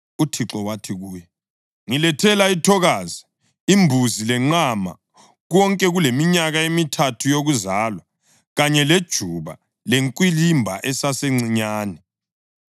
UThixo wathi kuye, “Ngilethela ithokazi, imbuzi, lenqama, konke kuleminyaka emithathu yokuzalwa, kanye lejuba lenkwilimba esesencinyane.”